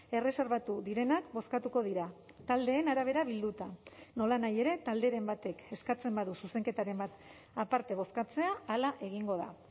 erreserbatu direnak bozkatuko dira taldeen arabera bilduta nolanahi ere talderen batek eskatzen badu zuzenketaren bat aparte bozkatzea hala egingo da